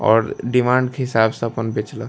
और डिमांड के हिसाब से अपन बेचलक।